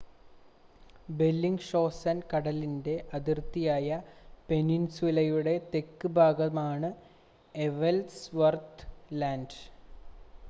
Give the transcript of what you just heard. Bellingshausen കടലിൻ്റെ അതിർത്തിയായ പെനിൻസുലയുടെ തെക്ക് ഭാഗമാണ് എൽസ്‌വർത്ത് ലാൻഡ്